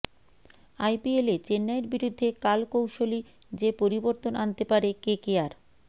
আইপিএলে চেন্নাইয়ের বিরুদ্ধে কাল কৌশলী যে পরিবর্তন আনতে পারে কেকেআর